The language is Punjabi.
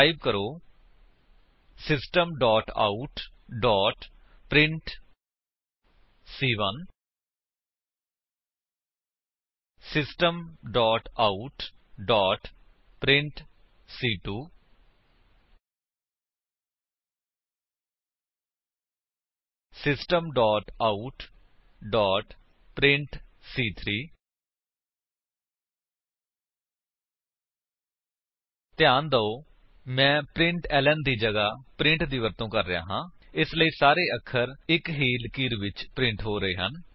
ਟਾਈਪ ਕਰੋ system out print 160 system out print 160 system out print 160 ਧਿਆਨ ਦਿਓ ਮੈਂ ਪ੍ਰਿੰਟਲਨ ਦੀ ਜਗ੍ਹਾ ਪ੍ਰਿੰਟ ਦੀ ਵਰਤੋ ਕਰ ਰਿਹਾ ਹਾਂ ਇਸਲਈ ਸਾਰੇ ਅੱਖਰ ਇੱਕ ਹੀ ਲਕੀਰ ਵਿੱਚ ਪ੍ਰਿੰਟ ਹੋ ਰਹੇ ਹਨ